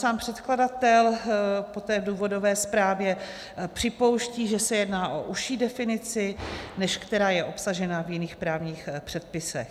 Sám předkladatel poté v důvodové zprávě připouští, že se jedná o užší definici, než která je obsažena v jiných právních předpisech.